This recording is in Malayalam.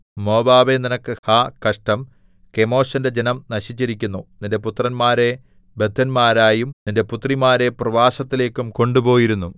മോവാബേ നിനക്ക് ഹാ കഷ്ടം കെമോശിന്റെ ജനം നശിച്ചിരിക്കുന്നു നിന്റെ പുത്രന്മാരെ ബദ്ധന്മാരായും നിന്റെ പുത്രിമാരെ പ്രവാസത്തിലേക്കും കൊണ്ടുപോയിരുന്നു